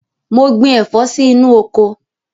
Mo gbin ẹ̀fọ́ sí inú oko.